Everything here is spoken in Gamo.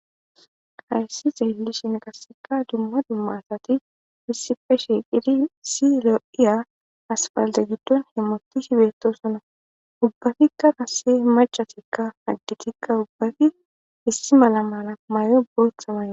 hayssi xeellishin qaseka dumma dumma asati issifeshi shiiqidi si lo7iya asfalde giddon hemotishi bettosona ubbafikka kase machatikka haddi tikka ubbafi issi mala mala mayo bootha man